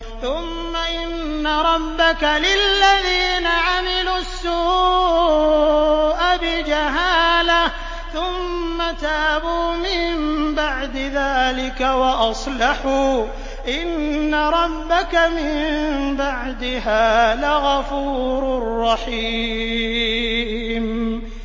ثُمَّ إِنَّ رَبَّكَ لِلَّذِينَ عَمِلُوا السُّوءَ بِجَهَالَةٍ ثُمَّ تَابُوا مِن بَعْدِ ذَٰلِكَ وَأَصْلَحُوا إِنَّ رَبَّكَ مِن بَعْدِهَا لَغَفُورٌ رَّحِيمٌ